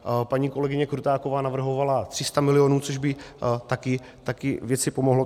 Paní kolegyně Krutáková navrhovala 300 milionů, což by taky věci pomohlo.